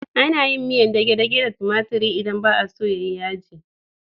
Ana yin miyar dage-dage da tumatiri idan ba a so ta yi yaji.